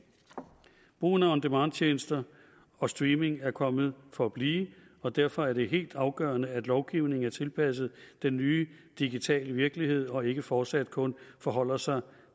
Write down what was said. brugen af on demand tjenester og streaming er kommet for at blive og derfor er det helt afgørende at lovgivningen er tilpasset den nye digitale virkelighed og ikke fortsat kun forholder sig